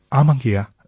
ஆமாங்கய்யா